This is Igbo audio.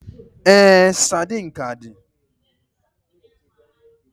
Ee, sardine ka di.